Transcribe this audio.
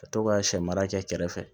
Ka to ka sɛ mara kɛ kɛrɛfɛ